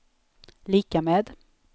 lika med